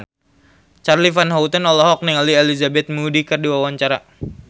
Charly Van Houten olohok ningali Elizabeth Moody keur diwawancara